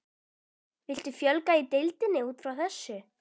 Viltu fjölga í deildinni útfrá þessu?